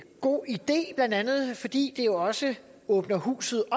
god idé blandt andet fordi det jo også åbner huset